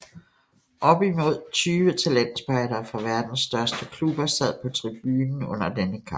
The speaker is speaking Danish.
Op imod 20 talentspejdere fra verdens største klubber sad på tribunen under denne kamp